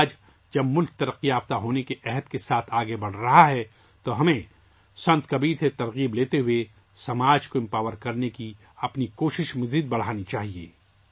آج جب ملک ترقی کے عزم کے ساتھ آگے بڑھ رہا ہے تو ہمیں سنت کبیر سے تحریک لیتے ہوئے سماج کو بااختیار بنانے کی کوششوں کو بڑھانا چاہیے